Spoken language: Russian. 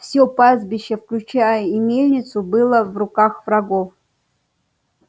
все пастбище включая и мельницу было в руках врагов